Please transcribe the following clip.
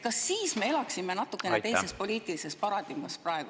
Kas me siis elaksime natukenegi teises poliitilises paradigmas?